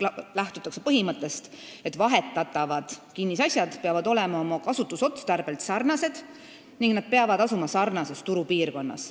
Lähtutakse põhimõttest, et vahetatavad kinnisasjad peavad olema oma kasutusotstarbelt sarnased ning nad peavad asuma sarnases turupiirkonnas.